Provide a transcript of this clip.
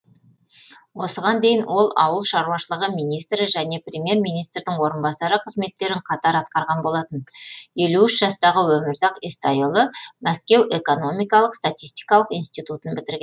осыған дейін ол ауыл шаруашылығы министрі және премьер министрдің орынбасары қызметтерін қатар атқарған болатын елу үш жастағы өмірзақ естайұлы мәскеу экономикалық статистикалық институтын бітірген